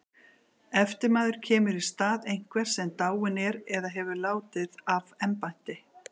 Eftirmaður kemur í stað einhvers sem dáinn er eða hefur látið af embætti.